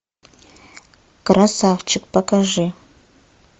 красавчик покажи